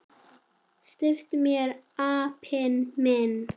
SLEPPTU MÉR, APINN ÞINN!